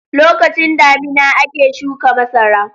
Lokacin damina ake shuka masara.